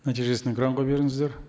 нәтижесін экранға беріңіздер